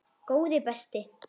Góði besti!